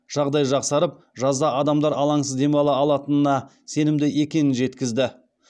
жағдай жақсарып жазда адамдар алаңсыз демала алатынына сенімді екенін жеткізді